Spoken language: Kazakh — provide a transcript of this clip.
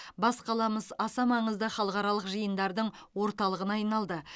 бас қаламыз аса маңызды халықаралық жиындардың орталығына айналды